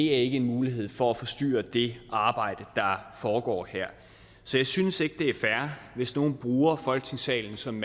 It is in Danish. ikke en mulighed for at forstyrre det arbejde der foregår her så jeg synes ikke det er fair hvis nogle bruger folketingssalen som